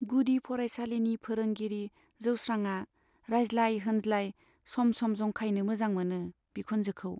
गुदि फरायसालिनि फोरोंगिरि जोस्रांआ रायज्लाय होनज्लाय सम सम जंखायनो मोजां मोनो बिखुनजोखौ।